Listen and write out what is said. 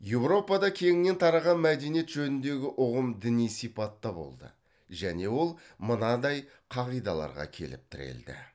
европада кеңінен тараған мәдениет жөніндегі ұғым діни сипатта болды және ол мынандай қағидаларға келіп тірелді